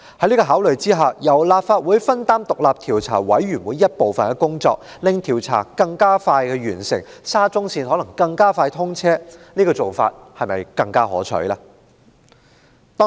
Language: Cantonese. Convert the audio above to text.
有見及此，由立法會分擔調查委員會的部分工作，令調查更快完成，沙中線就能更快通車，這種做法不是更可取嗎？